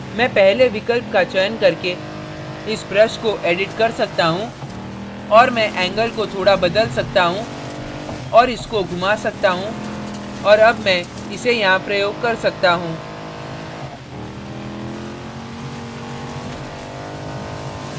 मैं पहले विकल्प का चयन करके इस brush को edit कर सकता हूँ और मैं angle angle को थोड़ा बदल सकता हूँ और इसके घुमा सकता हूँ और अब मैं इसे यहाँ प्रयोग कर सकता हूँ